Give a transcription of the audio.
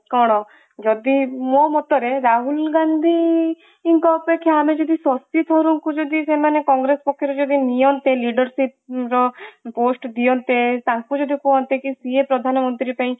କଣ ଯଦି ମୋ ମତରେ ରାହୁଲ ଗାନ୍ଧୀଙ୍କ ଅପେକ୍ଷା ଆମେ ଯଦି ଶକ୍ତିସ୍ୱରୂପଙ୍କୁ ଯଦି ସେମାନେ କଂଗ୍ରେସ ପକ୍ଷରେ ଯଦି ନିଅନ୍ତିleadership ର post ଦିଅନ୍ତେ ତାଙ୍କୁ ଯଦି କୁହନ୍ତେ କି ସିଏ ପ୍ରଧାନମନ୍ତ୍ରୀ ପାଇଁ